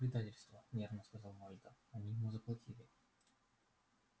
да это просто предательство нервно сказал вальто они ему заплатили